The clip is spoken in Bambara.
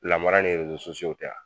Lamara ni tɛ wa ?